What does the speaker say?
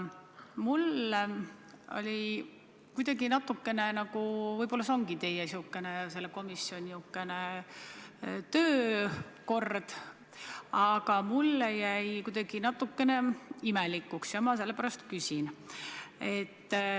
Võib-olla teie komisjoni töökord ongi selline, aga mulle jäi kuidagi natuke imelik mulje ja ma sellepärast küsin.